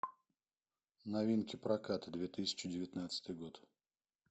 новинки проката две тысячи девятнадцатый год